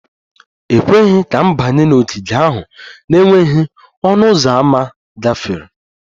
E kweghị ka m banye n'ogige ahụ n'enweghị ọnụ ụzọ ámá gafere